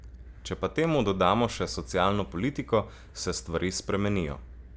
Če pa temu dodamo še socialno politiko, se stvari spremenijo.